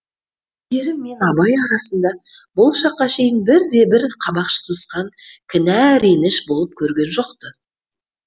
әйгерім мен абай арасында бұл шаққа шейін бірде бір қабақ шытынысқан кінә реніш болып көрген жоқ ты